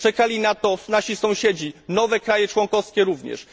Czekali na to nasi sąsiedzi, nowe państwa członkowskie również.